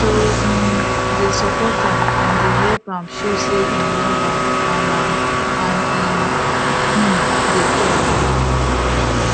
to um dey support am and dey help am show say im love am and am and im um dey care